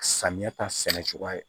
Samiya ta sɛnɛ cogo ye